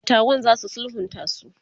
e datawan zasu sulhunta su